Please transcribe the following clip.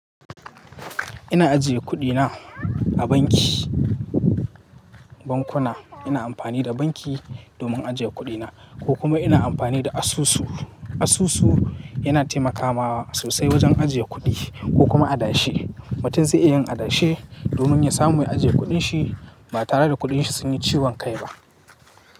Ina ajiye kuɗina a banki, bankuna. Ina amfani da banki domin ajiye kuɗina ko kuma ina amfani da asusu. Asusu yana taimakawa sosai wajen ajiye kuɗi ko kuma adashe. Mutum zai iya yin adashe domin ya samu mai ajiye kuɗin shi ba tare da kuɗin shi sun yi ciwon kai ba.